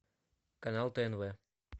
канал тнв